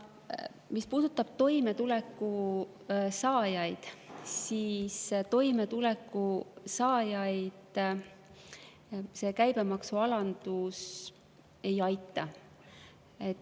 Mis puudutab toimetuleku saajaid, siis toimetuleku saajaid see käibemaksualandus ei aitaks.